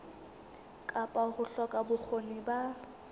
kapa ho hloka bokgoni ba